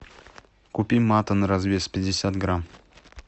купи мате на развес пятьдесят грамм